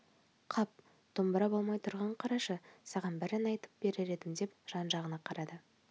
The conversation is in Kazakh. қап домбыра болмай тұрғанын қарашы саған бір ән айтып берер едім деп жан-жағына қарады